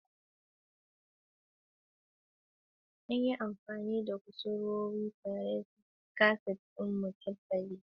An auna kusurwoyi tare da kaset ɗin murabba'i don tabbatar da gine-gine sun yi daidai.